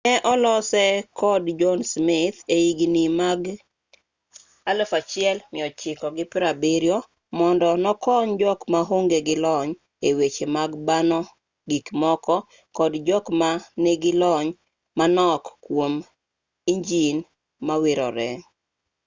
ne olose kod john smith e higni mag 1970 mondo nokony jok maonge gi lony e weche mag bano gikmoko kod jok ma nigi lony manok kwom injin mawirore